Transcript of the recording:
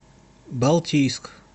балтийск